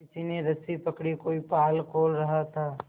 किसी ने रस्सी पकड़ी कोई पाल खोल रहा था